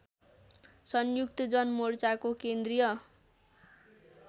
संयुक्त जनमोर्चाको केन्द्रीय